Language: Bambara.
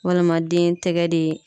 Walima den tɛgɛ de